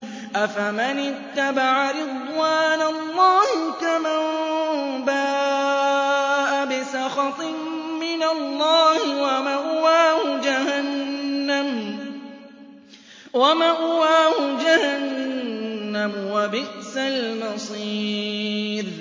أَفَمَنِ اتَّبَعَ رِضْوَانَ اللَّهِ كَمَن بَاءَ بِسَخَطٍ مِّنَ اللَّهِ وَمَأْوَاهُ جَهَنَّمُ ۚ وَبِئْسَ الْمَصِيرُ